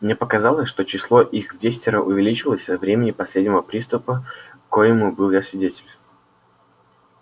мне показалось что число их вдесятеро увеличилось со времени последнего приступа коему был я свидетель